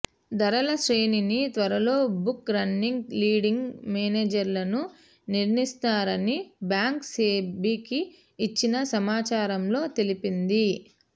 ధరల శ్రేణిని త్వరలో బుక్ రన్నింగ్ లీడ్ంగ్ మేనేజర్లను నిర్ణయిస్తారని బ్యాంక్ సెబీకి ఇచ్చిన సమాచారంలో తెలిపింది